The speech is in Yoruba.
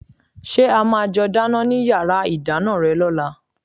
Ṣé a máa jọ dáná ní yàrá ìdáná rẹ lọ́la?